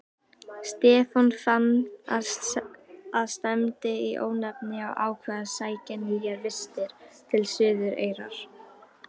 Stefán fann að stefndi í óefni og ákvað að sækja nýjar vistir til Suðureyrar.